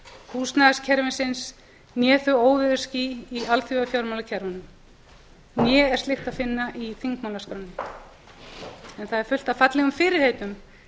húsnæðiskerfisins né þau óveðursský í alþjóðafjármálakerfunum né er slíkt að finna í þingmálaskránni þar er fullt af fallegum fyrirheitum